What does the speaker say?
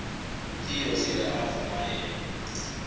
utheo sele avuma yedwa